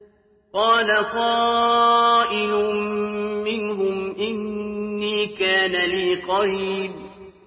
قَالَ قَائِلٌ مِّنْهُمْ إِنِّي كَانَ لِي قَرِينٌ